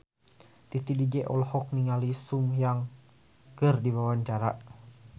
Titi DJ olohok ningali Sun Kang keur diwawancara